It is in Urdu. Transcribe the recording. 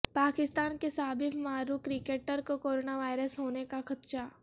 پاکستان کے سابق معروف کرکٹر کو کرونا وائرس ہونے کا خدشہ